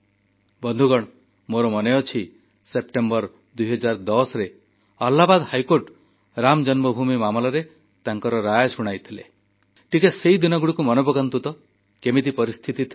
ବନ୍ଧୁଗଣ ମୋର ମନେଅଛି ସେପ୍ଟେମ୍ବର 2010ରେ ଆହ୍ଲାବାଦ ହାଇକୋର୍ଟ ରାମ ଜନ୍ମଭୂମି ମାମଲାରେ ତାଙ୍କର ରାୟ ଶୁଣାଇଥିଲେ ଟିକେ ସେଇ ଦିନଗୁଡ଼ିକୁ ମନେପକାନ୍ତୁ ତ କେମିତି ପରିସ୍ଥିତି ଥିଲା